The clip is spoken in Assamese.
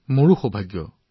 আমাৰো সৌভাগ্য হৈছে